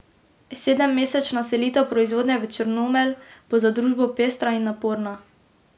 Sedemmesečna selitev proizvodnje v Črnomelj bo za družbo pestra in naporna.